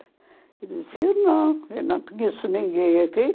Ele disse, eu não, eu não conheço ninguém aqui.